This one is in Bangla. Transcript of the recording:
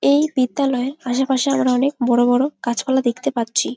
এই বিদ্যালয়ের আশে পাশে আমরা অনেক বড় বড় গাছপালা দেখতে পাচ্ছি।